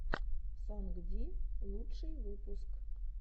сонгди лучший выпуск